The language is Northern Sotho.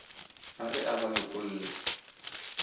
a re a ba lokolle